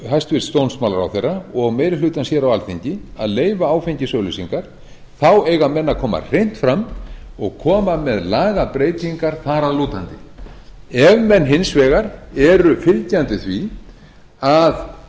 vilji hæstvirtur dómsmálaráðherra og meiri hlutans hér á alþingi að leyfa áfengisauglýsingar þá eiga menn að koma hreint fram og koma með lagabreytingar þar að lútandi ef menn hins vegar eru fylgjandi því að